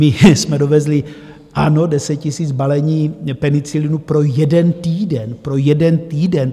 My jsme dovezli, ano, 10 000 balení penicilinu pro jeden týden - pro jeden týden.